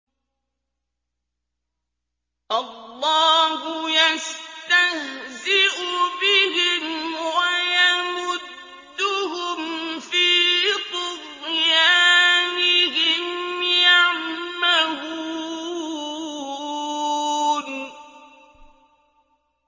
اللَّهُ يَسْتَهْزِئُ بِهِمْ وَيَمُدُّهُمْ فِي طُغْيَانِهِمْ يَعْمَهُونَ